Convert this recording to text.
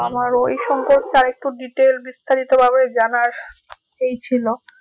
আমার ওই সম্পর্কে আর একটু detail বিস্তারিত ভাবে জানার এই ছিল